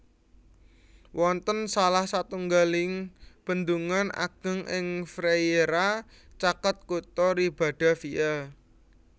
Wonten salah satunggaling bendungan ageng ing Frieira caket kutha Ribadavia